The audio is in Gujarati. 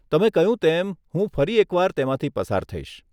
તમે કહ્યું તેમ હું ફરી એકવાર તેમાંથી પસાર થઈશ.